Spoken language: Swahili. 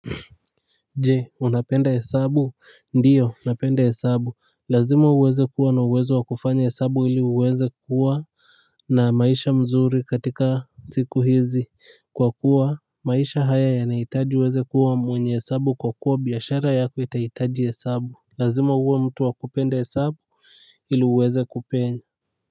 Je unapenda hesabu ndiyo napenda hesabu lazima uweze kuwa na uwezo wa kufanya hesabu ili uweze kuwa na maisha mzuri katika siku hizi kwa kuwa maisha haya yanahitaji uweze kuwa mwenye hesabu kwa kuwa biashara yako itahitaji hesabu lazima uwe mtu wa kupenda hesabu ili uweze kupenya.